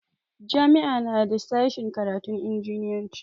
Jami'a na da sashen karatun injiniyanci.